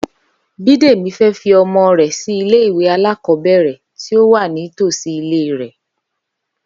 Bídèmí fé fi omo rè sí ilé ìwé alákòóbèrè tí ó wà ní tòsí ilé rè